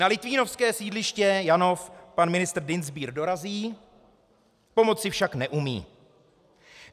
Na litvínovské sídliště Janov pan ministr Dienstbier dorazí, pomoci však neumí.